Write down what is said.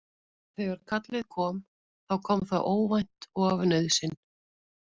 Þegar kallið kom þá kom það óvænt og af nauðsyn.